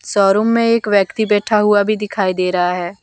Showroom में एक व्यक्ति बैठा हुआ भी दिखाई दे रहा है।